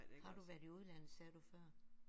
Har du været i udlandet sagde du før?